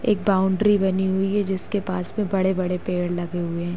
एक बाउंड्री बनी हुई है जिसके पास में बड़े बड़े पेड लगे हुए हैं।